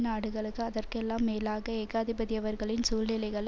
நாடுகளுக்கு அதற்கெல்லாம் மேலாக ஏகாதிபதியவர்களின் சூழ்நிலைகளை